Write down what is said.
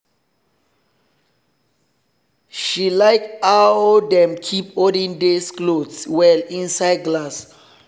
she like how dem keep olden days clothes well inside glass.